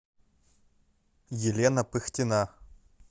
елена пыхтина